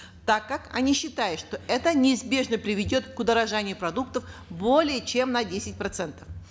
так как они считают что это неизбежно приведет к удорожанию продуктов более чем на десять процентов